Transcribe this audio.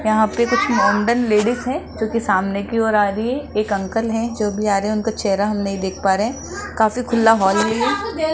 यहां पे कुछ मॉडर्न लेडिस है जो की सामने की ओर आ रही है एक अंकल है जो भी आ रहे है उनका चेहरा हम नहीं देख पा रहे है काफी खुला हॉल है ये --